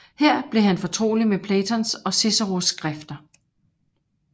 Her blev han fortrolig med Platons og Ciceros skrifter